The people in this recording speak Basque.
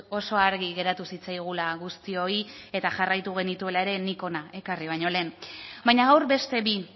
oso argi geratu zitzaigula guztioi eta jarraitu genituela ere nik hona ekarri baino lehen baina gaur beste bi